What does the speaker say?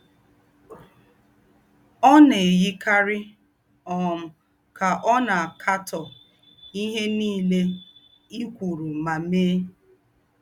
Ọ̀ nà-èyíkárí um ká ọ̀ nà-àkátọ́ íhé nílé ì̀ kwérù mà méè.